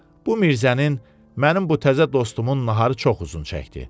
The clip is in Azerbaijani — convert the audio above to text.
Bu Mirzənin, mənim bu təzə dostumun naharı çox uzun çəkdi.